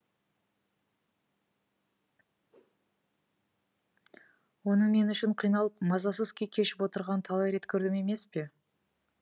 оның мен үшін қиналып мазасыз күй кешіп отырғанын талай рет көрдім емес пе